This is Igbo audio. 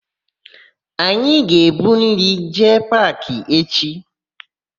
Anyị aga ebu nri jee paakị echi?